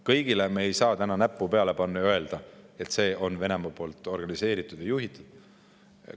Kõigele me ei saa näppu peale panna ja öelda, et see on Venemaa organiseeritud või juhitud.